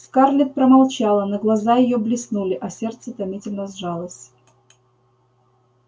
скарлетт промолчала но глаза её блеснули а сердце томительно сжалось